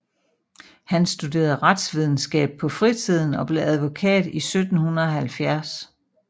Han studerede retsvidenskab på fritiden og blev advokat i 1770